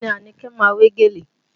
Bẹẹ ni Anike ma wé gèlè